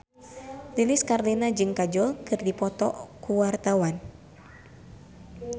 Lilis Karlina jeung Kajol keur dipoto ku wartawan